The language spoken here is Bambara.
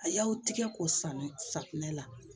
A y'aw tigɛ k'o saani safunɛ la